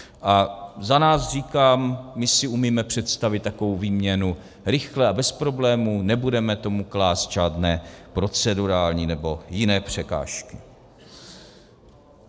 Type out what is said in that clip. A za nás říkám, my si umíme představit takovou výměnu rychle a bez problémů, nebudeme tomu klást žádné procedurální nebo jiné překážky.